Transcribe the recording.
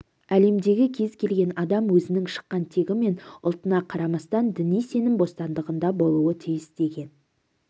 әлемдегі кез келген адам өзінің шыққан тегі мен ұлтына қарамастан діни сенім бостандығында болуы тиіс деген